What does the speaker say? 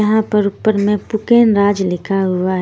यहां पर ऊपर में पुकेनराज लिखा हुआ है।